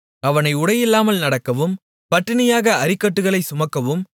அவனை உடையில்லாமல் நடக்கவும் பட்டினியாக அரிக்கட்டுகளைச் சுமக்கவும்